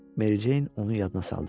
Mary Jane onu yadına saldı.